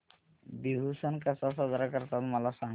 बिहू सण कसा साजरा करतात मला सांग